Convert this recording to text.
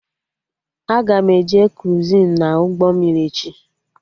Aga m eje kruizin na ụgbọ mmiri echi